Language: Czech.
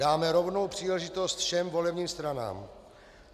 Dáme rovnou příležitost všem volebním stranám.